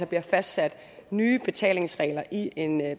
bliver fastsat nye betalingsregler i en